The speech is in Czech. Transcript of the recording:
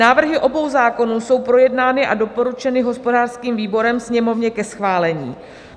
Návrhy obou zákonů jsou projednány a doporučeny hospodářským výborem Sněmovně ke schválení.